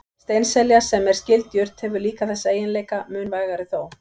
Steinselja, sem er skyld jurt, hefur líka þessa eiginleika, mun vægari þó.